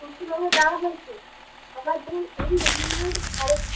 পশ্চিমবঙ্গে দেওয়া হয়েছে